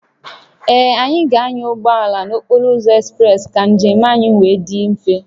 Ee, anyị ga-anya ụgbọ ala n'okporo ụzọ ekspreesị ka njem anyị wee dị mfe